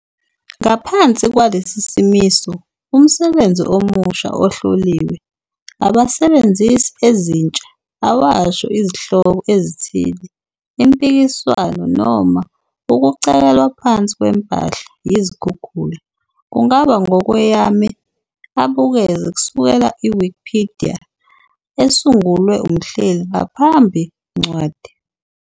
Ngaphansi kwalesi simiso, umsebenzi omusha ohloliwe abasebenzisi ezintsha awasho izihloko ezithile impikiswano noma ukucekelwa phansi kwempahla yizikhukhula kungaba 'ngokweyame abukeze kusukela Wikipedia esungulwe umhleli ngaphambi ncwadi ".